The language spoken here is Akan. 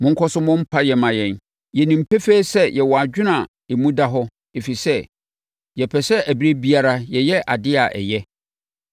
Monkɔ so mmɔ mpaeɛ mma yɛn. Yɛnim pefee sɛ yɛwɔ adwene a emu da hɔ, ɛfiri sɛ, yɛpɛ sɛ ɛberɛ biara yɛyɛ adeɛ a ɛyɛ.